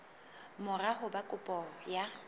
mora ho ba kopo ya